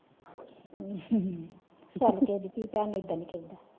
ਅਮ ਹਮ ਚਾਲ ਕਿਹੇ ਦੀ ਧੀ ਪੈਣ ਨੂੰ ਇੱਦਾ ਨਿ ਕਹਿੰਦਾ।